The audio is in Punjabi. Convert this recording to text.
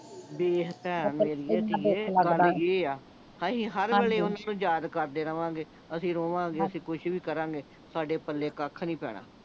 ਵੇਖ ਭੈਣ ਮੇਰੀਏ ਧੀਏ ਅਸੀਂ ਹਰ ਵੇਲੇ ਓਹਨਾਂ ਨੂੰ ਯਾਦ ਕਰਦੇ ਰਹਵਾਂਗੇ ਅਸੀਂ ਰੋਵਾਂਗੇ ਅਸੀਂ ਕੁਛ ਵੀ ਕਰਾਂਗੇ ਸਾਡੇ ਪਲੇ ਕੱਖ ਨਹੀਂ ਪੈਣਾ